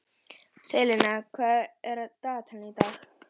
Selina, hvað er á dagatalinu í dag?